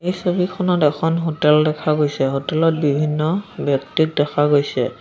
এই ছবিখনত এখন হোটেল দেখা গৈছে হোটেল ত বিভিন্ন ব্যক্তিক দেখা গৈছে।